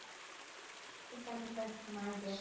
শুকান শুকান